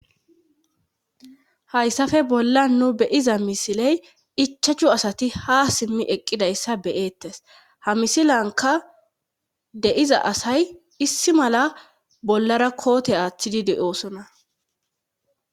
hayssafe bolla nu beyiza misiley ichachu asati ha simmi eqqidayssa beyeettes ha misilanka deiza asay issi mala bollara koote aaththidi de7oosona